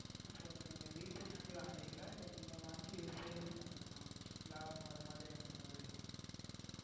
இப்போ நீங்க வீட்டிற்கு வேண்டி வாங்கிறீங்களா இல்ல நீங்க வாங்கி sales யும் பண்னும்மா? லாபம் வர மாதிரி அந்த மாதிரி.